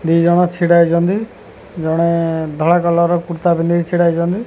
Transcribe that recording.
ଦିଜଣ ଛିଡ଼ା ହେଇଚନ୍ତି ଜଣେ ଧଳା କଲର୍ ର କୁର୍ତ୍ତା ପିନ୍ଧିକି ଛିଡ଼ା ହେଇଚନ୍ତି।